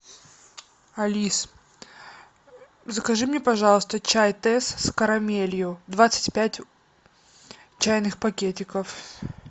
алис закажи мне пожалуйста чай тесс с карамелью двадцать пять чайных пакетиков